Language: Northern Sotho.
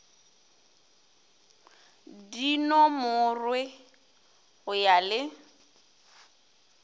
di nomorwe go ya le